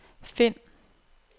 find